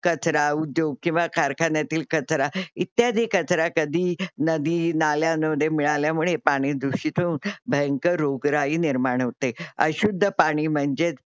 कचरा उद्योग किंवा कारखान्यातील कचरा इत्यादी कचरा कधी नदी, नाल्यामध्ये मिळाल्यामुळे पाणी दुषित होऊन भयंकर रोगराई निर्माण होते. अशुद्ध पाणी म्हणजेच